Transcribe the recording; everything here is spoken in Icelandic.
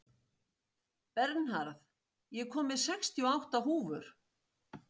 Bernharð, ég kom með sextíu og átta húfur!